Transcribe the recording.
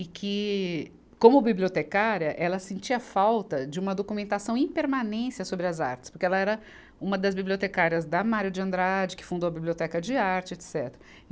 e que, como bibliotecária, ela sentia falta de uma documentação em permanência sobre as artes, porque ela era uma das bibliotecárias da Mário de Andrade, que fundou a Biblioteca de Arte, etecetera.